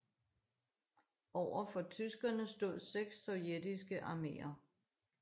Overfor tyskerne stod seks sovjetiske arméer